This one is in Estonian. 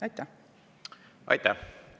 Aitäh!